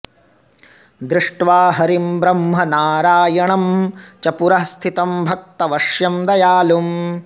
दृष्ट्वा हरिं ब्रह्म नारायणं च पुरः स्थितं भक्तवश्यं दयालुम्